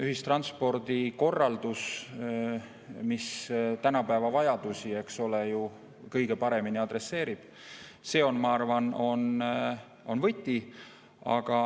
Ühistranspordi korraldus, mis tänapäeva vajadusi, eks ole, kõige paremini adresseerib, on minu arvates võti.